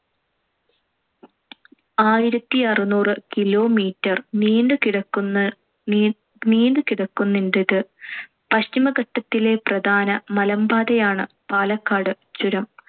ആയിരത്തിഅറുനൂറ് kilometer നീണ്ടു കിടക്കുന്ന~ നീണ്ടു കിടക്കുന്നുണ്ടിത്. പശ്ചിമഘട്ടത്തിലെ പ്രധാന മലമ്പാതയാണ്‌ പാലക്കാട് ചുരം.